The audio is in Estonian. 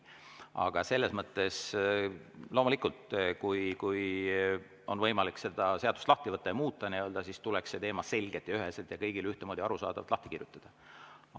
Aga selles mõttes loomulikult, kui on võimalik see seadus lahti võtta ja seda nii-öelda muuta, siis tuleks see teema selgelt, üheselt ja kõigile ühtemoodi arusaadavalt lahti kirjutada.